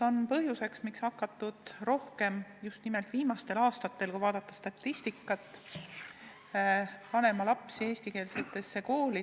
Nii on just nimelt viimastel aastatel, kui vaadata statistikat, hakatud lapsi panema eestikeelsetesse koolidesse.